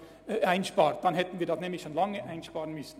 In diesem Fall hätten wir das Geld schon längst einsparen müssen.